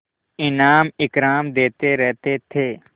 इनाम इकराम देते रहते थे